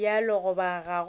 bjalo goba ga go bjalo